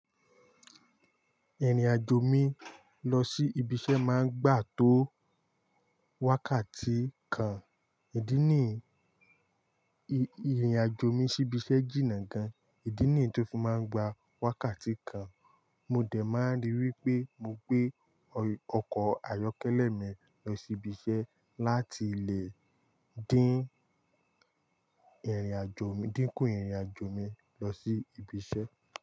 Ìrìn-àjò mi lọ sí ibi iṣẹ́ máa ń gbà tó wákàtí kan. Ìdí nìí, ìrìn-àjò mi sí ibi iṣẹ́ jìnnà gan. Ìdí nìí tó fi máa ń gba wákàtí kan. Mo dẹ̀ máa ríi wípé mo gbé ọkọ̀ ayọ́kẹ́lẹ́ mi lọ sí ibi iṣẹ́ láti lè dín ìrìn-àjò mi, dínkù ìrìn-àjò mi lọ sí ibi iṣẹ́.